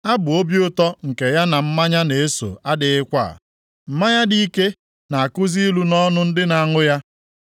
Abụ obi ụtọ nke ya na mmanya na-eso adịghịkwa; mmanya dị ike na-akụzi ilu nʼọnụ ndị na-aṅụ ya.